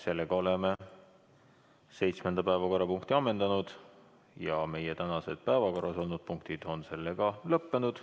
Seega oleme seitsmenda päevakorrapunkti menetlemise lõpetanud ja meie tänased päevakorras olnud punktid on ammendatud.